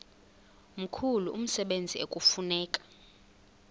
mkhulu umsebenzi ekufuneka